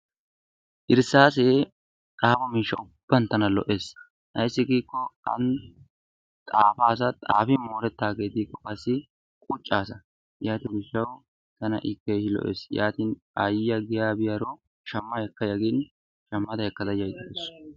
Irsaase xaafo miishshaa ubban tana lo'ees. Ayssi giko an xaafaasa; xaafin moorettage diko qassi quccasa. Yaato gishshawu tana i keehin lo'ees. Yaatin Aayiya giya biyaro tawu shamma ekkaya gin shamma ekaysu.